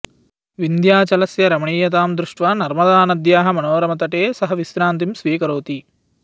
विन्ध्याचलस्य रमणीयतां दृष्ट्वा नर्मदानद्याः मनोरमतटे सः विश्रान्तिं स्वीकरोति